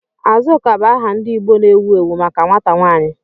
Azuka bụ aha ndị Igbo na-ewu ewu maka nwata nwanyị.